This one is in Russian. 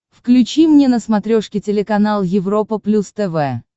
включи мне на смотрешке телеканал европа плюс тв